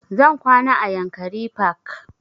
Zan kwana a yankari park